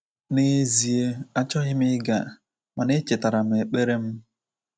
N’ezie, achọghị m ịga, mana echetara m ekpere m.